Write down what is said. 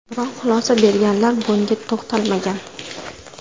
Biroq xulosa berganlar bunga to‘xtalmagan.